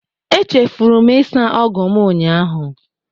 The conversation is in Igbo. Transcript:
Echefuru m ịsa ọgụ m ụnyahụ